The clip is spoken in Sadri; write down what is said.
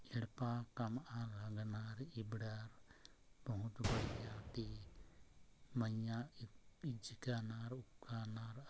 एडपा काम नाना इब्डा बहुत बढ़िया ते म्यां पिचकनार हानार --